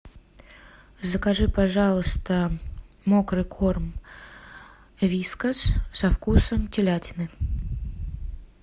закажи пожалуйста мокрый корм вискас со вкусом телятины